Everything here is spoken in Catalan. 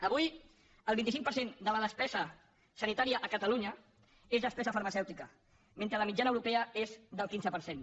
avui el vint cinc per cent de la despesa sanitària a catalunya és despesa farmacèutica mentre la mitjana europea és del quinze per cent